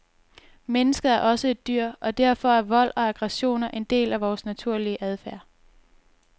Mennesket er også et dyr, og derfor er vold og aggressioner en del af vores naturlige adfærd.